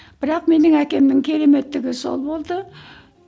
бірақ менің әкемнің кереметтігі сол болды